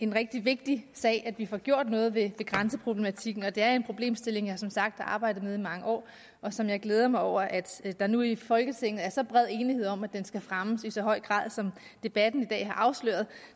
rigtig vigtigt at vi får gjort noget ved grænseproblematikken det er en problemstilling jeg som sagt har arbejdet med i mange år og som jeg glæder mig over at der nu i folketinget er så bred enighed om at fremme i så høj grad som debatten i dag har afsløret